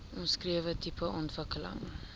omskrewe tipe ontwikkeling